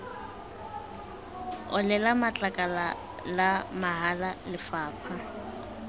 olela matlakala la mahala lefapha